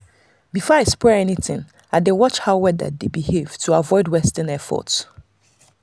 before i spray anything i dey watch how weather dey behave to avoid wasting effort.